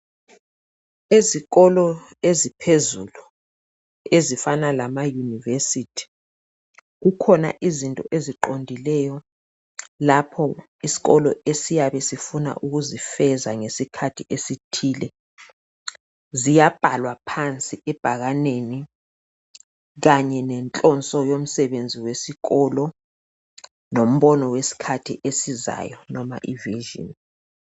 Ezikolo eziphezulu ezifana lamayunivesithi. Kukhona izinto eziqondileyo lapho isikolo esiyabe sifuna ukuzifeza ngesikhathi esithile. Ziyabhalwa phansi ebhakaneni kanye lenhloso yomsebenzi wesikolo lombono wesikhathi esizayo.